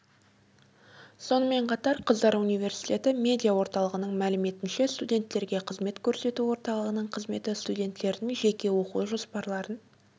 сонымен қатар қыздар университеті медиа орталығының мәліметінше студенттерге қызмет көрсету орталығының қызметі студенттердің жеке оқу жоспарларын